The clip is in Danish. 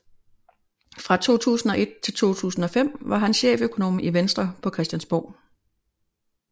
Fra 2001 til 2005 var han cheføkonom i Venstre på Christiansborg